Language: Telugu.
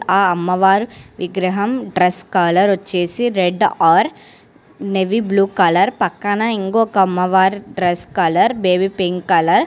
ఆ అమ్మవారి విగ్రహం డ్రెస్ కాలర్ వచ్చేసి red or navy blue colour పక్కన ఇంకో అమ్మ వారి dress colour baby pink colour .